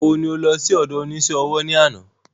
Ìgbà wo ni o lọ sí ọdọ onísé ọwọ́ ní àná?